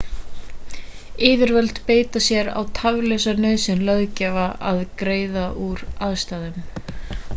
yfirvöld einbeita sér á tafarlausa nauðsyn löggjafans að greiða úr aðstæðunum